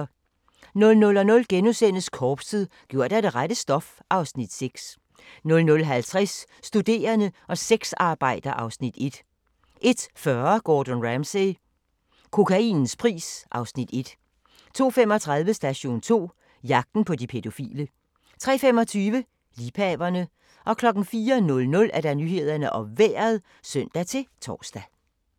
00:00: Korpset - gjort af det rette stof (Afs. 6)* 00:50: Studerende og sexarbejder (Afs. 1) 01:40: Gordon Ramsay - kokainens pris (Afs. 1) 02:35: Station 2: Jagten på de pædofile 03:25: Liebhaverne 04:00: Nyhederne og Vejret (søn-tor)